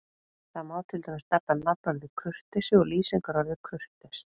Þar má til dæmis nefna nafnorðið kurteisi og lýsingarorðið kurteis.